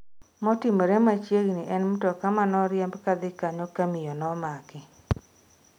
Motimore machiegni en mtoka manoriemb kadhi kanyo ka miyo nomaki